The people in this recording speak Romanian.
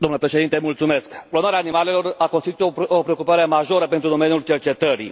Domnule Președinte, clonarea animalelor a constituit o preocupare majoră pentru domeniul cercetări.